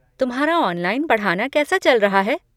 तुम्हारा ऑनलाइन पढ़ाना कैसा चल रहा है?